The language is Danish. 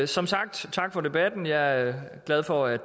som sagt sige tak for debatten jeg er glad for at